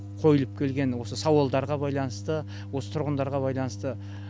қойылып келген осы сауалдарға байланысты осы тұрғындарға байланысты